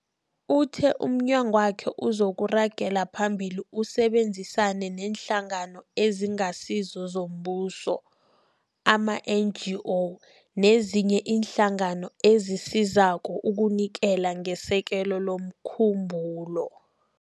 Uthe umnyangwakhe uzokuragela phambili usebenzisane neeNhlangano eziNgasizo zoMbuso, ama-NGO, nezinye iinhlangano ezisizako ukunikela ngesekelo lomkhumbulo.